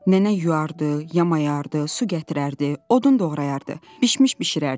Nənə yuardı, yamayardı, su gətirərdi, odun doğrayardı, bişmiş bişirərdi.